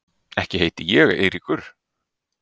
Ekki heiti ég Eiríkur